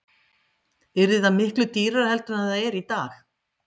Björn Þorláksson: Yrði það miklu dýrara heldur en það er í dag?